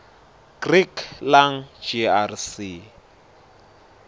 greek lang grc